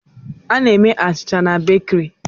Buredi ka e ji na-eme na bakiri